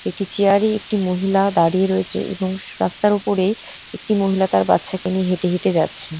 একটি চেয়ার -এ একটি মহিলা দাড়িয়ে রয়েছে এবং রাস্তার ওপরে একটি মহিলা তার বাচ্চাকে নিয়ে হেটে হেটে যাচ্ছে।